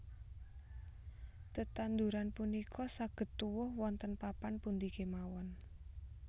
Tetanduran punika saged tuwuh wonten papan pundi kemawon